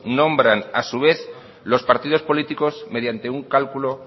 nombran a su vez los partidos políticos mediante un cálculo